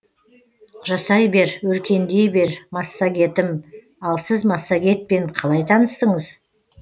жасай бер өркендей бер массагетім ал сіз массагетпен қалай таныстыңыз